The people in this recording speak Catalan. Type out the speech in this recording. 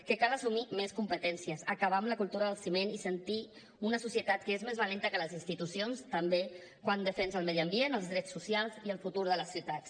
que cal assumir més competències acabar amb la cultura del ciment i sentir una societat que és més valenta que les institucions també quan defensa el medi ambient els drets socials i el futur de les ciutats